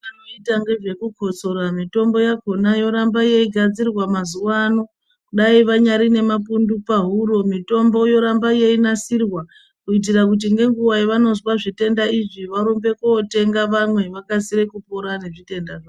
Anotanga zvekukotsora mitombo yakona yoramba yeyigadzirwa mazuva ano dai vanayi nemapundu pahuro mitombo yoramba yeyinasirwa kuitira kuti nenguva yavanozwa zvitenda izvi varumbe kootenge vamwe vakasire kupira ngezvitenda zvavo.